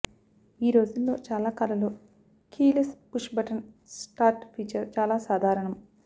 ఈ రోజుల్లో చాలా కార్లలో keyless push button start feature చాలా సాధారణం